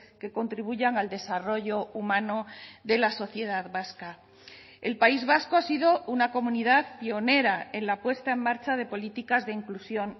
que contribuyan al desarrollo humano de la sociedad vasca el país vasco ha sido una comunidad pionera en la puesta en marcha de políticas de inclusión